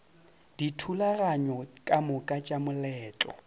dithulaganyo ka moka tša moletlo